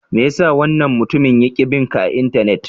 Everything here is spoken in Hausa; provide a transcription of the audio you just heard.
Me ya sa wannan mutumin yake bin ka a Intanet?